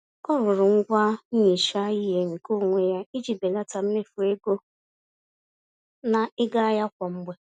Ọ rụrụ ngwá nhicha-ihe nke onwe ya, iji belata mmefu ego na ịga ahịa kwa mgbè